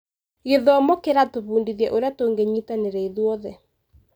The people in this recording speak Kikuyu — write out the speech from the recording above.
Gĩthomo kĩratũbundithia ũrĩa tũngĩnyitanĩra ithuothe.